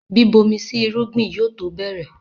Bíbomi sí irúgbìn yóò tó bẹ̀rẹ̀